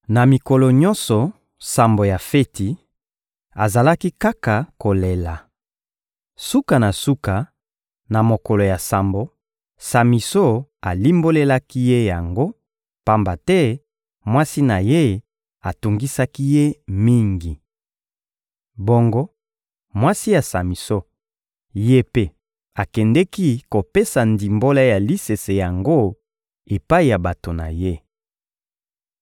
Na mikolo nyonso sambo ya feti, azalaki kaka kolela. Suka na suka, na mokolo ya sambo, Samison alimbolelaki ye yango, pamba te mwasi na ye atungisaki ye mingi. Bongo mwasi ya Samison, ye mpe akendeki kopesa ndimbola ya lisese yango epai ya bato na ye.